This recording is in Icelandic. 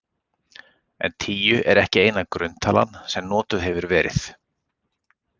En tíu er ekki eina grunntalan sem notuð hefur verið.